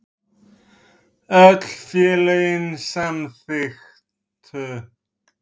Öll félögin samþykktu